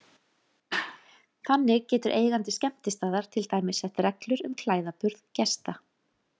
Þannig getur eigandi skemmtistaðar til dæmis sett reglur um klæðaburð gesta.